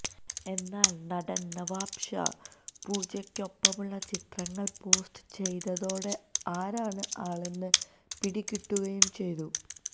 എന്നാല് നടന് നവാബ് ഷാ പൂജയ്ക്കൊപ്പമുള്ള ചിത്രങ്ങള് പോസ്റ്റ് ചെയ്തതോടെ ആരാണ് ആളെന്ന് പിടികിട്ടുകയും ചെയ്തു